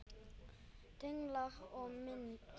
Tenglar og mynd